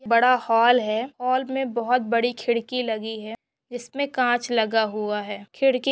बड़ा हॉल है हॉल मे बहुत बड़ी खिड़की लगी है। जिसमे काच लगा हुआ है खिड़की--